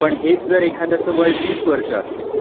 पण हेच जर एखाद्याचं वय वीस वर्ष असेल,